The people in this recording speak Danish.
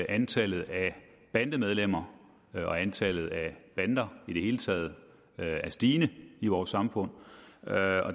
antallet af bandemedlemmer og antallet af bander i det hele taget er stigende i vores samfund